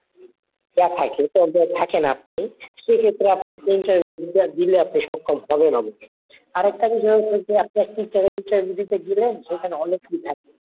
ইয়া থাকে ধরেন থাকেন আপনি সেক্ষেত্রে আপনাকে interview টা দিলে আপনি সক্ষম হবেন অবশ্যই। আরেকটা বিষয় হচ্ছে আপনি একটি জায়গায় interview দিতে গেলেন সেখানে অনেক লোক থাকে।